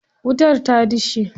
Wutar ta dishe.